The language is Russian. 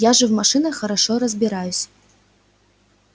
я же в машинах хорошо разбираюсь